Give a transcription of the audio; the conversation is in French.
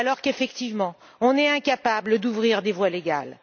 Alors qu'effectivement, on est incapable d'ouvrir des voies légales.